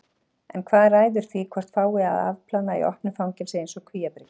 En hvað ræður því hvort fái að afplána í opnu fangelsi eins og Kvíabryggju?